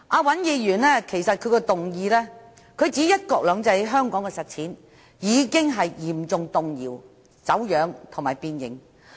尹議員的議案指"'一國兩制'在香港的實踐已經嚴重動搖、走樣和變形"。